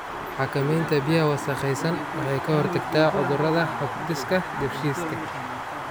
Xakamaynta biyaha wasakhaysan waxay ka hortagtaa cudurrada hab-dhiska dheefshiidka.